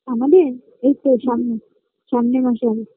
আমাদের এই তো সামনে সামনের মাসে হবে